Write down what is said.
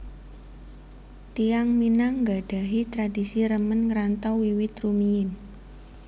Tiyang Minang nggadhahi tradisi remen ngrantau wiwit rumiyin